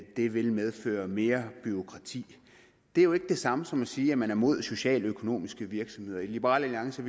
det vil medføre mere bureaukrati det er jo ikke det samme som at sige at man er imod socialøkonomiske virksomheder i liberal alliance